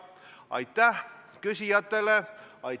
Aitäh küsijatele!